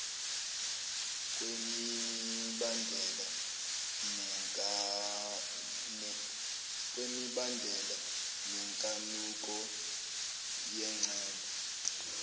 kwemibandela nenkanuko yengcebo